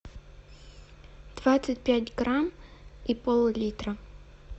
двадцать пять грамм и пол литра